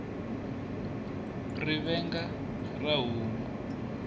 rivenga ra homu